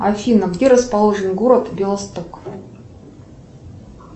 афина где расположен город белосток